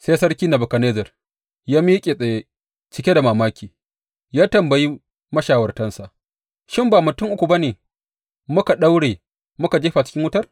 Sai Sarki Nebukadnezzar ya miƙe tsaye, cike da mamaki ya tambayi mashawartansa, Shin ba mutum uku ba ne muka daure muka jefa cikin wutar?